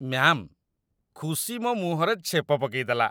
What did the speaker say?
Ma'am, ଖୁସି ମୋ ମୁହଁରେ ଛେପ ପକେଇଦେଲା ।